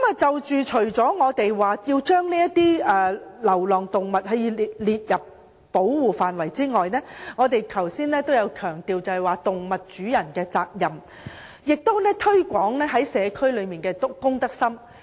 除了要把流浪動物納入保護範圍內，我們也強調動物主人的責任，以及提高社區人士的公德心。